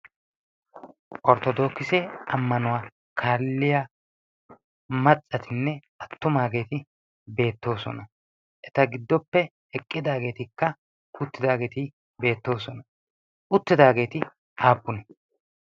orttodookisi ammanuwaa kaalliya maccatinne attumaageeti beettoosona eta giddoppe heqqidaageetikka uttidaageeti beettoosona uttidaageeti aappune